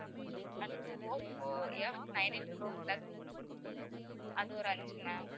அடுத்தது Oppo Fnineteen pro plus அது ஒரு அஞ்சு ma'am